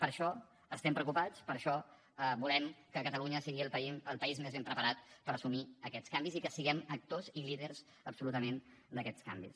per això estem preocupats per això volem que catalunya sigui el país més ben preparat per assumir aquests canvis i que siguem actors i líders absolutament d’aquests canvis